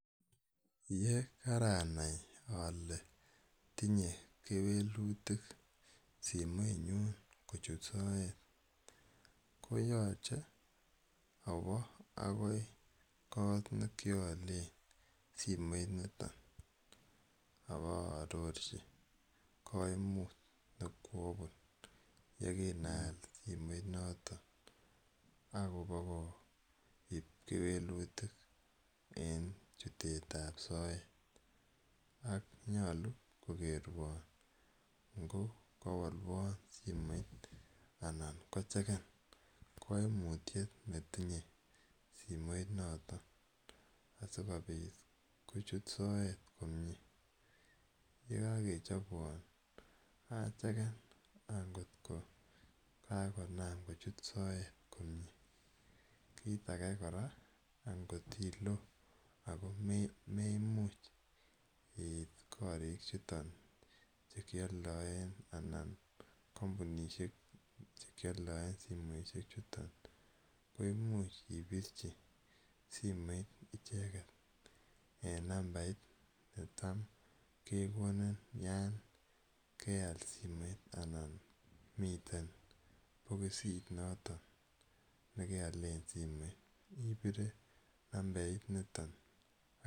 Ye kara nai ale tinye kewelutik simenyun kochut soet koyachen awa akoi kot ne kialen soimoitniton ako paarorchi kaimutiet ne koapun ye kinaal simoit notok akopa kewelutik en chutet ap soet. Ak nyalu kokerwan ngo kawalwan simoit anan ko chekan kaimutiet ne tinye simoinotok asikopit kochut soet komye. Ye kakechopwan acheken angot ko kakonam kochut soet komye. Kiit age kora, angot ko ilo ako memuch iit korichuton che kialdaen an kampunishek che kialdaei simoishechuton ko much ipirchi simoit icheget en nambait ne tam kekonin yon keal simoit anan miten pokosit noton ne kealen simet. Ipirei nambarit niton.